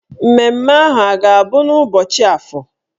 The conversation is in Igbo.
Mmemme ahụ a ga-abụ n'ụbọchị Afọ?